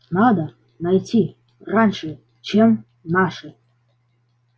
надо найти раньше чем наши